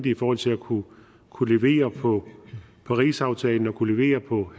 i forhold til at kunne kunne levere på parisaftalen og kunne levere på